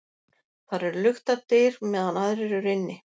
Þar eru luktar dyr meðan aðrir eru inni.